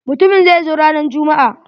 Mutumin zai zo ranan jummu'a.